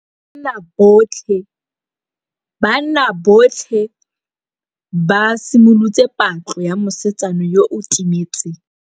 Banna botlhê ba simolotse patlô ya mosetsana yo o timetseng.